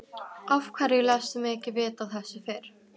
Af hverju léstu mig ekki vita af þessu fyrr?